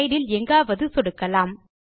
slide இல் எங்காவது சொடுக்கலாம்